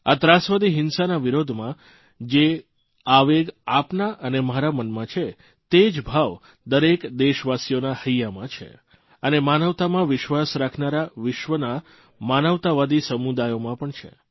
આ ત્રાસવાદી હિંસા ના વિરોધમાં જે આવેગ આપના અને મારા મનમાં છે તે જ ભાવ દરેક દેશવાસીઓના હૈયામાં છે અને માનવતામાં વિશ્વાસ રાખનારા વિશ્વના માનવતાવાદી સમુદાયોમાં પણ છે